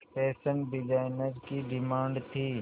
fashion designer की demand थी